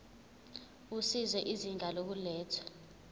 usizo izinga lokulethwa